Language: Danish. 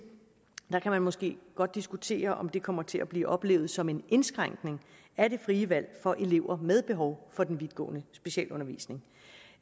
kan man måske godt diskutere om det kommer til at blive oplevet som en indskrænkning af det frie valg for elever med behov for den vidtgående specialundervisning